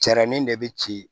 Jarani de bɛ ci